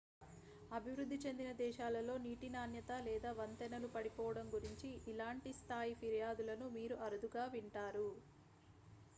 అభివృద్ధి చెందిన దేశాలలో నీటి నాణ్యత లేదా వంతెనలు పడిపోవడం గురించి ఇలాంటి స్థాయి ఫిర్యాదులను మీరు అరుదుగా వింటారు